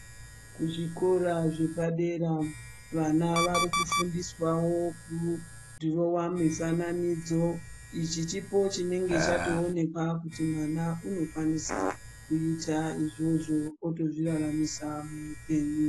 Kuzvikora zvepadera vana varikufundiswawo kudhirowa mifananidzo ichi chipo chinenge chatoonekwa kuti mwana unokwanisa kuita izvozvo otozviraramisa muupenyu.